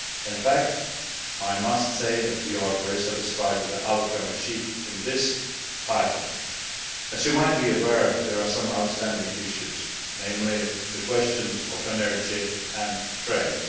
In fact, we are very satisfied with the outcome achieved in this title. As you might be aware, there are some outstanding issues, namely, the questions of energy and trade.